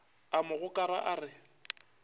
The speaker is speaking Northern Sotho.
a mo gokara a re